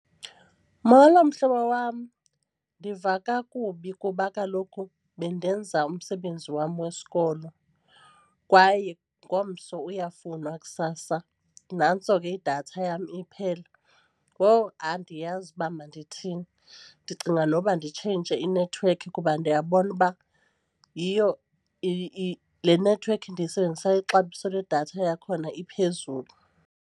Molo mhlobo wam, ndiva kakubi kuba kaloku bendenza umsebenzi wam wesikolo kwaye ngomso uyafunwa kusasa, nantso ke idatha yam iphela. Wowu, andiyazi uba mandithini ndicinga noba nditshintshe inethiwekhi kuba ndiyabona uba yiyo le nethiwekhi ndiyisebenzisayo ixabiso ledatha yakhona iphezulu.